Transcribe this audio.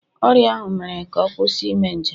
Ọrịa ahụ mere ka ọ kwụsị ime njem